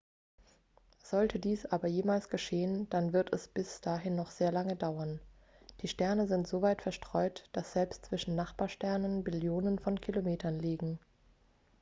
sollte dies aber jemals geschehen dann wird es bis dahin noch sehr lange dauern die sterne sind so weit verstreut dass selbst zwischen nachbarsternen billionen von kilometern liegen